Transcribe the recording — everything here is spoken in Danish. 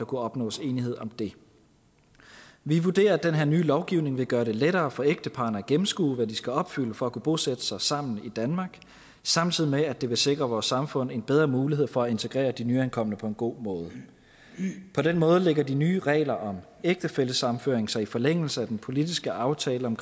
kunne opnås enighed om det vi vurderer at den her nye lovgivning vil gøre det lettere for ægteparrene at gennemskue hvad de skal opfylde for at kunne bosætte sig sammen i danmark samtidig med at det vil sikre vores samfund en bedre mulighed for at integrere de nyankomne på en god måde på den måde lægger de nye regler om ægtefællesammenføring sig i forlængelse af den politiske aftale om